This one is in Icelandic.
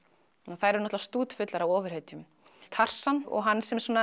þær eru stútfullar af ofurhetjum og hann